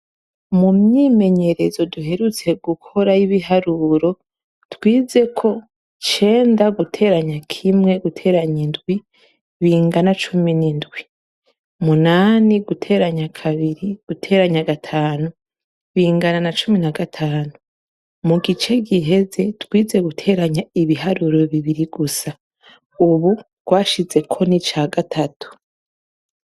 Mu myimenyerezo duheruka gukora y' ibiharuro, twize ko icenda guteranya kimwe guteranya indwi, bingana icumi n' indwi. Munani guteraya kabiri gutera gatanu, bingana na cumi na gatanu. Mu gice giheze twize guteranya ibiharuro bibiri gusa. Ubu twashizeko n' ica gatatu.